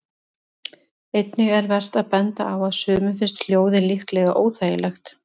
Einnig er vert að benda á að sumum finnst hljóðið líklega óþægilegt.